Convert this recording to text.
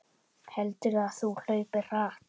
Heldurðu að þú hlaupir hratt?